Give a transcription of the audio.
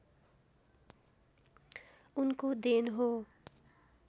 उनको देन हो